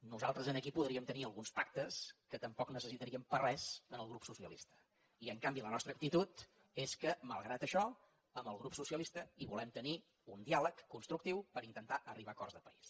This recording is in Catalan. nosaltres aquí podríem tenir alguns pactes en què tampoc necessitaríem per a res el grup socialista i en canvi la nostra actitud és que malgrat això amb el grup socialista volem tenir un diàleg constructiu per intentar arribar a acords de país